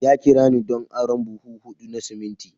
Ya kira ni don arron buhu hudu na siminti.